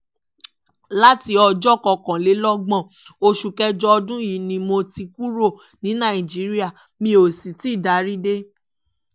láti ọjọ́ kọkànlélọ́gbọ̀n oṣù kẹjọ ọdún yìí ni mo ti kúrò ní nàìjíríà mi ó sì tì í darí dé